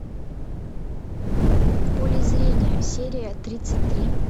в поле зрения серия тридцать три